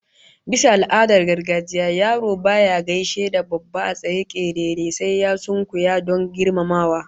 Bisa al'adar gargajiya yaro baya gaishe da babba a state kerere sai ya sunkuya don girmamawa